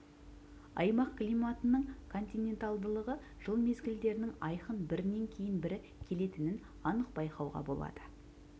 аймақ климатының континентальдылығы жыл мезгілдерінің айқын бірінен кейін бірі келетінін анық байқауға болады